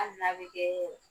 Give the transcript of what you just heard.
Hali n'a be kɛ